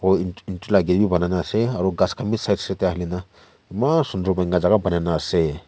aro et et etu la ake banai na ase aro khas bi side side te halikena eman sundur para banaikena ase.